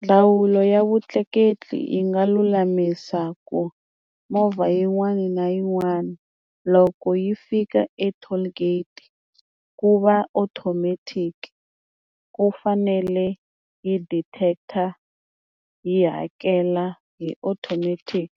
Ndzawulo ya vutleketli yi nga lulamisa ku movha yin'wana na yin'wana loko yi fika e-toll gate ku va automatic ku fanele yi detect-a yi hakela hi automatic